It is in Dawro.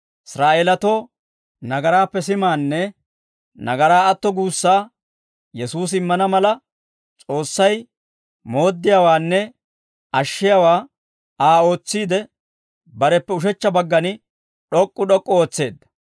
Israa'eelatoo nagaraappe simaanne nagaraa atto guussaa Yesuusi immana mala, S'oossay mooddiyaawaanne ashshiyaawaa Aa ootsiide, bareppe ushechcha baggan d'ok'k'u d'ok'k'u ootseedda.